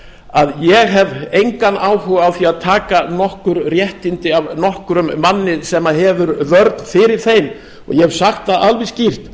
að ég hef engan áhuga á því að taka nokkur réttindi af nokkrum manni sem hefur vörn fyrir þeim og ég hef sagt það alveg skýrt að